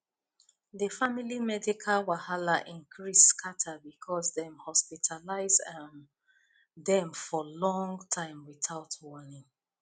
the family medical wahala increase scatter because dem hospitalize um dem for long time without warning